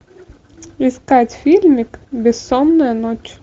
искать фильмик бессонная ночь